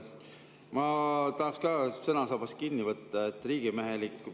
Ma tahaks ka sõnasabast kinni võtta, et riigimehelik.